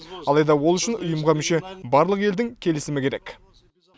алайда ол үшін ұйымға мүше барлық елдің келісімі керек